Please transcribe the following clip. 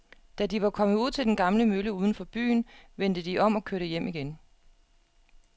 Da de var kommet ud til den gamle mølle uden for byen, vendte de om og kørte hjem igen.